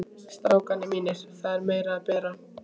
STRÁKAR MÍNIR, ÞAÐ ER MEIRA AÐ BERA.